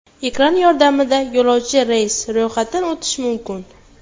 Ekran yordamida yo‘lovchi reysga ro‘yxatdan o‘tishi mumkin.